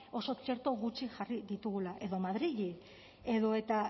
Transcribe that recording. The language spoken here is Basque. oso txerto gutxi jarri ditugula edo madrili edota